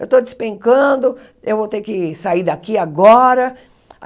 Eu estou despencando, eu vou ter que sair daqui agora.